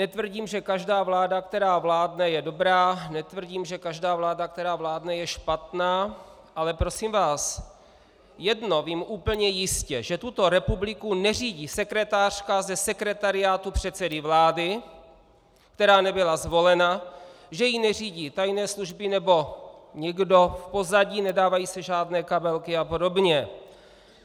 Netvrdím, že každá vláda, která vládne, je dobrá, netvrdím, že každá vláda, která vládne, je špatná, ale prosím vás, jedno vím úplně jistě, že tuto republiku neřídí sekretářka ze sekretariátu předsedy vlády, která nebyla zvolena, že ji neřídí tajné služby nebo někdo v pozadí, nedávají se žádné kabelky a podobně.